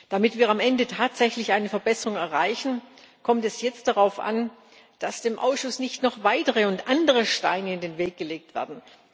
Damit wir am Ende tatsächlich eine Verbesserung erreichen, kommt es jetzt darauf an, dass dem Ausschuss nicht noch weitere und andere Steine in den Weg gelegt werden.